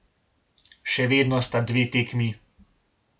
Še vedno sta dve tekmi.